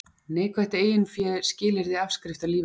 Neikvætt eiginfé skilyrði afskrifta lífeyrissjóðanna